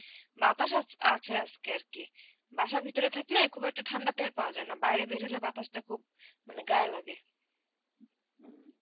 বাতাস আছ~ আছে আজকে আরকি. বাসার ভিতরে থাকলে খুব একটা ঠান্ডাতে আর পাওয়া যায় না. বাইরে বের হলে বাতাসটা খুব মানে গায়ে লাগে.